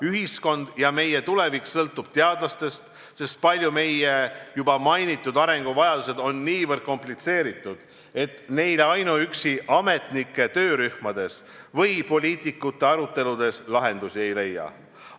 Ühiskond ja meie tulevik sõltub teadlastest, sest paljud meie juba mainitud arenguvajadused on niivõrd komplitseeritud, et ainuüksi ametnike töörühmades või poliitikute aruteludes neile lahendusi ei leia.